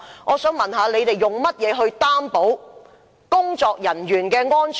我想問，當局怎樣擔保工人的安全？